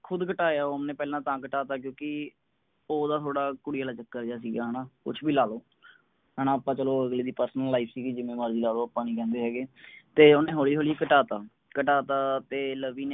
ਖੁਦ ਘਟਾਇਆ ਓਹਨੇ ਪਹਿਲਾਂ ਤਾਂ ਘਟਤਾ ਕਿਉਂਕਿ ਓਹਦਾ ਥੋੜਾ ਕੁੜੀ ਆਲਾ ਚੱਕਰ ਜਿਆ ਸਿਗਾ ਹੈਨਾ ਕੁਸ਼ ਵੀ ਲਾਲੋ ਹੈਨਾ ਆਪਾਂ ਅਗਲੇ ਦੀ personal life ਸਿਗੀ ਜਿਵੇ ਮਰਜੀ ਲਾਲੋ ਆਪਾ ਨੀ ਕਹਿੰਦੇ ਹੈਗੇ ਤੇ ਓਹਨੇ ਹੋਲੀ ਹੋਲੀ ਘਟਤਾ ਘਟਤਾ ਤੇ ਲਵੀ ਨੇ